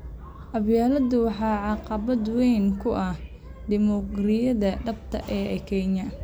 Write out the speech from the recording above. Qabyaaladdu waxay caqabad weyn ku tahay dimuqraadiyadda dhabta ah ee Kenya.